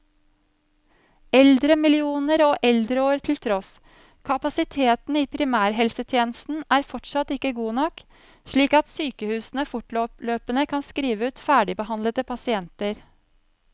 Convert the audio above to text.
Eldremillioner og eldreår til tross, kapasiteten i primærhelsetjenesten er fortsatt ikke god nok, slik at sykehusene fortløpende kan skrive ut ferdigbehandlede pasienter.